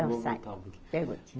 Então, sai, pergunte.